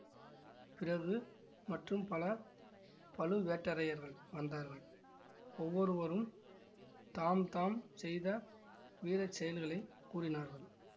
பிறகு மற்றும் பல பழுவேட்டரையர்கள் வந்தார்கள் ஒவ்வொருவரும் தாம் தாம் செய்த வீர செயல்களைக் கூறினார்கள்